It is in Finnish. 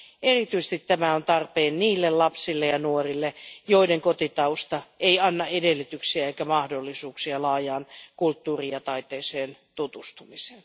Erityisesti tämä on tarpeen niille lapsille ja nuorille, joiden kotitausta ei anna edellytyksiä eikä mahdollisuuksia laajaan kulttuuriin ja taiteeseen tutustumiseen.